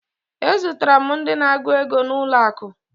Ezutere m ndị na-agụ ego n'ụlọakụ